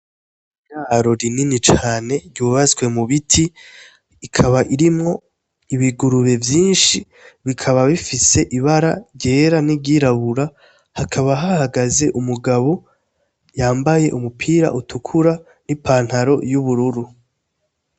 Iraro rinini cane ryubatswe mu biti rikaba irimwo ibugurube vyinshi bikaba bifise ibara ryera n' iryirabura hakaba hahagaze umugabo yambaye umupira utukura n' ipantaro y' ubururu.